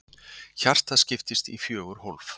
Hjartað skiptist í fjögur hólf.